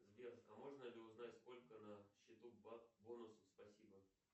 сбер а можно ли узнать сколько на счету бонусов спасибо